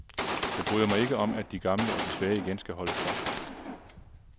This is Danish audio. Jeg bryder mig ikke om, at de gamle og de svage igen skal holde for.